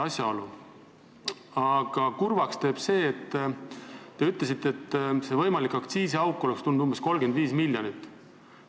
Teeb kurvaks, et te ütlesite, et võimalik aktsiisiauk oleks tulnud umbes 35 miljonit.